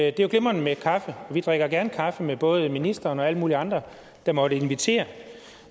at det er glimrende med kaffe og vi drikker gerne kaffe med både ministeren og alle mulige andre der måtte invitere